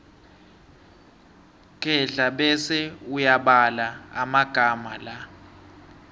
kghedla bese uyabala amagama la